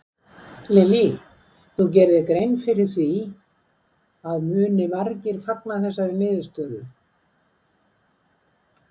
Lillý: Þú gerir þér grein fyrir því að muni margir fagna þessari niðurstöðu?